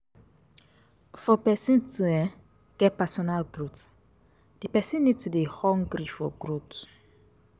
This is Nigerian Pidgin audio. For person to um get personal growth, di person need to dey hungry for growth